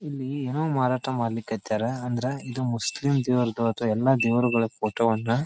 ಇಲ್ಲಿ ಏನೋ ಮಾರಾಟ ಮಾಡ್ಲಿ ಕತ್ತರ್ ಅಂದ್ರ ಇದು ಮುಸ್ಲಿಮ್ ದೇವ್ರದ್ದು ಅಥವಾ ಎಲ್ಲಾ ದೇವರಗಳ ಫೋಟೋವನ್ನ .